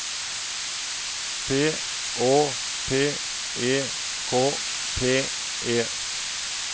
P Å P E K T E